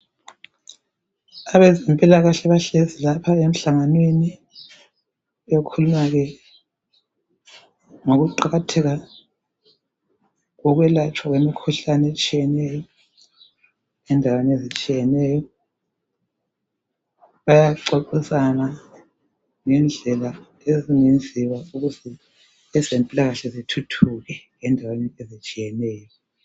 Abezempilakahle bahlezi lapha emhlanganweni ekhulunywa ke ngokuqakatheka kokwelatshwa kwemikhuhlane etshiyeneyo endaweni ezitshiyeneyo bayaxoxisana ngendlela ezingenziwa ukuze ezempilakahle zithuthuke endaweni ezitshiyeneyo.